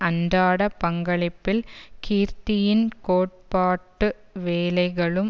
அன்றாட பங்களிப்பில் கீர்த்தியின் கோட்பாட்டு வேலைகளும்